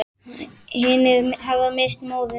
Hinir hafa misst móðinn.